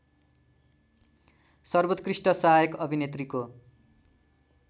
सर्वोत्कृष्ट सहायक अभिनेत्रीको